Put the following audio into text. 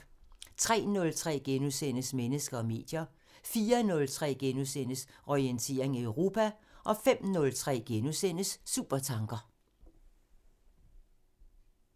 03:03: Mennesker og medier * 04:03: Orientering Europa * 05:03: Supertanker *